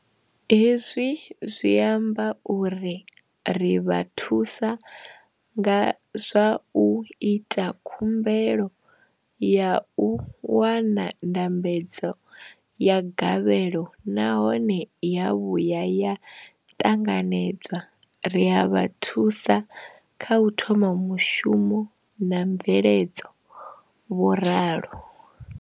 Hezwi zwi amba uri ri vha thusa nga zwa u ita khumbelo ya u wana ndambedzo ya gavhelo nahone ya vhuya ya ṱanganedzwa, ri a vha thusa kha u thoma mushumo na mveledzo, vho ralo.